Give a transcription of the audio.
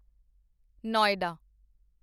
Noida